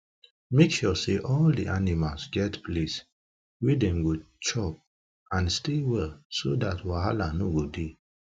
make sure say all the animals get place wa them go chop and stay well so that um wahala no go the